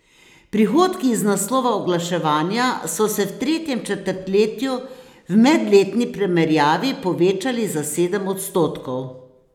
Prihodki iz naslova oglaševanja so se v tretjem četrtletju v medletni primerjavi povečali za sedem odstotkov.